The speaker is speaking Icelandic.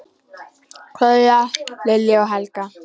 Kveðja, Lilja og Helga.